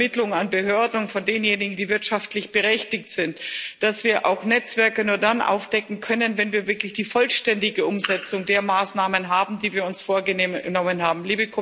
dass die Übermittlung an Behörden und von denjenigen, die wirtschaftlich berechtigt sind, erfolgt, dass wir auch Netzwerke nur dann aufdecken können, wenn wir wirklich die vollständige Umsetzung der Maßnahmen erreichen, die wir uns vorgenommen haben.